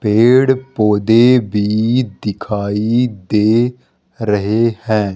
पेड़-पौधे भी दिखाई दे रहे हैं।